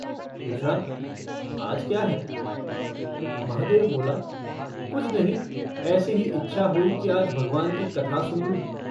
पूछा - आज क्या है? महादेव बोला - कुछ नहीं, ऐसी ही इच्छा हुई कि आज भगवान की कथा सुन लूँ।